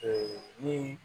Ee ni